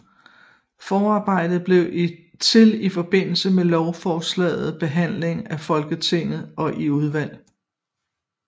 Forarbejder blev til i forbindelse med lovforslagets behandling i Folketinget og i udvalg